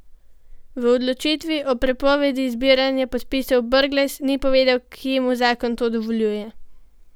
V odločitvi o prepovedi zbiranja podpisov Brglez ni povedal, kje mu zakon to dovoljuje.